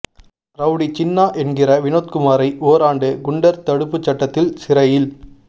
rowdy Chinna என்கிற வினோத்குமாரை ஓராண்டு குண்டர் தடுப்பு சட்டத்தில் சிறையில்